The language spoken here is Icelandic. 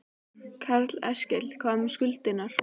Karl Eskil: En hvað með skuldirnar?